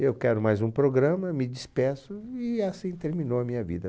Eu quero mais um programa, me despeço e assim terminou a minha vida.